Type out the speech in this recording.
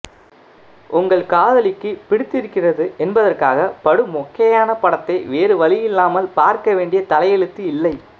உங்களின் காதலிக்குப் பிடித்திருக்கிறது என்பதற்காகப் படு மொக்கையான படத்தை வேறு வழி இல்லாமல் பார்க்க வேண்டிய தலையெழுத்து இல்லை